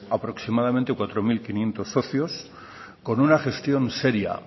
aproximadamente cuatro mil quinientos socios con una gestión seria